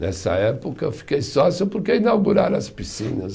Nessa época eu fiquei sócio porque inauguraram as piscinas.